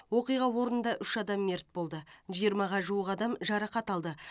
оқиға орнында үш адам мерт болды жиырмаға жуық адам жарақат алды